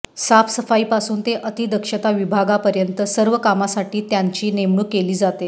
साफसफाईपासून ते अतिदक्षता विभागापर्यंत सर्व कामांसाठी त्यांची नेमणूक केली जाते